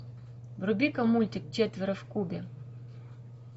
вруби ка мультик четверо в кубе